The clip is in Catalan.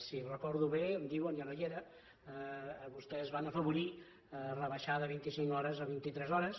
si ho recordo bé em diuen jo no hi era vostès van afavorir rebaixar de vint i cinc hores a vint i tres hores